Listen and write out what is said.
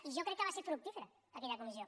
i jo crec que va ser fructífera aquella comissió